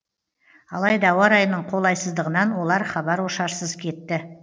алайда ауа райының қолайсыздығынан олар хабар ошарсыз кетті